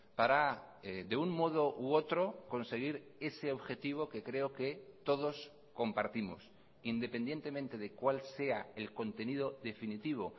para de un modo u otro conseguir ese objetivo que creo que todos compartimos independientemente de cuál sea el contenido definitivo